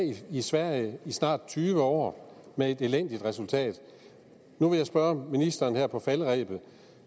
i sverige i snart tyve år med et elendigt resultat nu vil jeg spørge ministeren her på falderebet